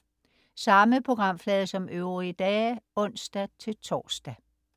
Samme programflade som øvrige dage (ons-tors)